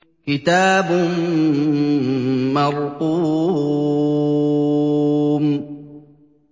كِتَابٌ مَّرْقُومٌ